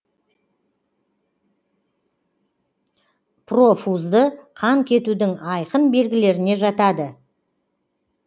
профузды қан кетудің айқын белгілеріне жатады